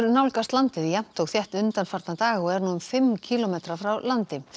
nálgast landið jafnt og þétt undanfarna daga og er nú um fimm kílómetra frá landi